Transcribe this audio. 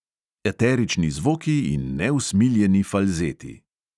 Eterični zvoki in neusmiljeni falzeti.